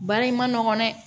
Baara in man nɔgɔn dɛ